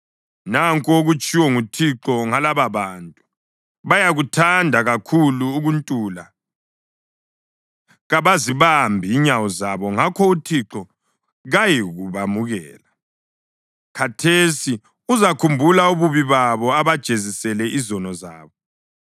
Nanku okutshiwo nguThixo ngalababantu: “Bayakuthanda kakhulu ukuntula; kabazibambi inyawo zabo. Ngakho uThixo kayikubamukela; khathesi uzakhumbula ububi babo abajezisele izono zabo.”